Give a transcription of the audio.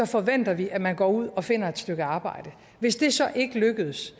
forventer vi at man går ud og finder et arbejde hvis det så ikke lykkes